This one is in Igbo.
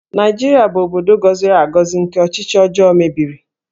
Naịjirịa bụ obodo gọziri agọzi nke ọchịchị ọjọọ mebiri